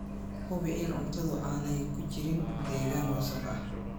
Hubi in cuntadu aanay ku jirin deegaan wasakh ah.